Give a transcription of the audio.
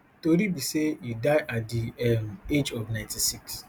tori be say e die at di um age of ninety-six